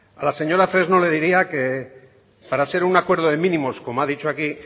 a la señora fresno le diría que para ser un acuerdo de mínimos como ha dicho aquí